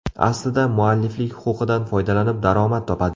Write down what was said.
Aslida, mualliflik huquqidan foydalanib daromad topadi.